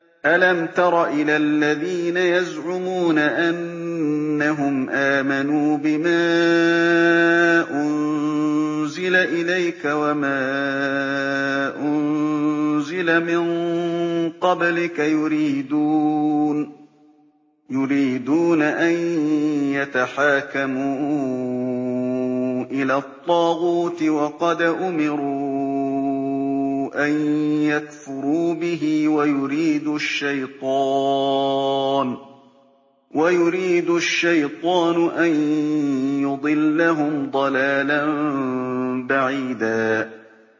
أَلَمْ تَرَ إِلَى الَّذِينَ يَزْعُمُونَ أَنَّهُمْ آمَنُوا بِمَا أُنزِلَ إِلَيْكَ وَمَا أُنزِلَ مِن قَبْلِكَ يُرِيدُونَ أَن يَتَحَاكَمُوا إِلَى الطَّاغُوتِ وَقَدْ أُمِرُوا أَن يَكْفُرُوا بِهِ وَيُرِيدُ الشَّيْطَانُ أَن يُضِلَّهُمْ ضَلَالًا بَعِيدًا